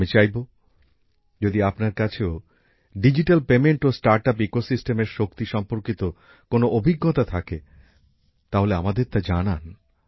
আমি চাইবো যদি আপনার কাছেও ডিজিটাল আর্থিক লেনদেন ও স্টার্ট আপ্সের ব্যবস্থাপনার শক্তি সম্পর্কিত কোন অভিজ্ঞতা থাকে তাহলে আমাদের তা জানান